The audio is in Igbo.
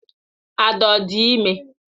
. Ada ọ dị ime?